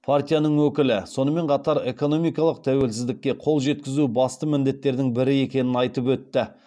партияның өкілі сонымен қатар экономикалық тәуелсіздікке қол жеткізу басты міндеттердің бірі екенін айтып өтті